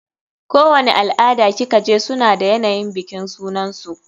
Kowani al-ada ki kaje suna da yanayin bikin sunansu.